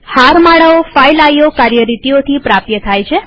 હારમાળાઓ file IO કાર્યરીતિઓથી પ્રાપ્ય થાય છે